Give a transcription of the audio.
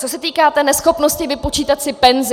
Co se týká té neschopnosti vypočítat si penzi.